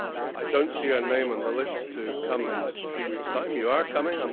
I do not see her name on the list to come in three weeks' time you are coming?